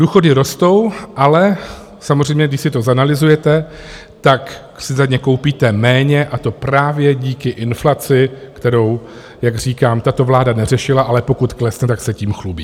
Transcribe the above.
Důchody rostou, ale samozřejmě když si to zanalyzujete, tak si za ně koupíte méně, a to právě díky inflaci, kterou, jak říkám, tato vláda neřešila, ale pokud klesne, tak se tím chlubí.